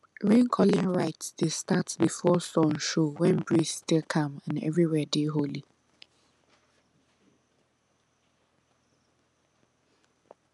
raincalling rite dey start before sun show when breeze still calm and everywhere dey holy